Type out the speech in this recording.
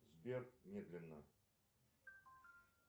сбер медленно